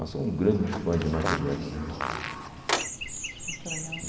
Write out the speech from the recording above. Eu sou um grande fã de Michael Jackson. Muito legal